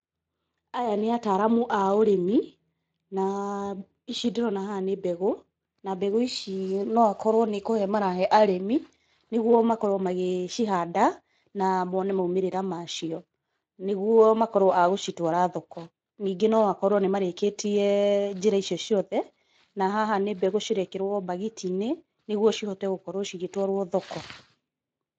Aya nĩ ataaramu a ũrĩmi na ici ndĩrona haha nĩ mbegũ, na mbegũ ici no akorwo nĩ kũhe marahe arĩmi nĩ guo makorwo magĩcihanda na mone maumĩrĩra macio nĩ guo makorwo a gũcitwara thoko. Ningĩ no akorwo nĩ marĩkĩtie njĩra icio ciothe, na haha nĩ mbegũ cirekĩrwo mbagiti-inĩ nĩ guo cihote gũkorwo cigĩtwarwao thoko.